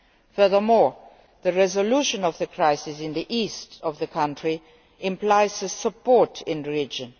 Furthermore, the resolution of the crisis in the east of the country implies support in the region.